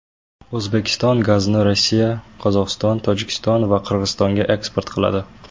O‘zbekiston gazni Rossiya, Qozog‘iston, Tojikiston va Qirg‘izistonga eksport qiladi.